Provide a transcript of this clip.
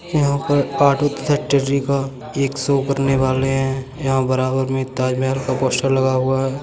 यहाँ पर फैक्ट्री का एक शो करने वाले है| यहाँ बराबर में ताजमहल का पोस्टर लग हुआ है।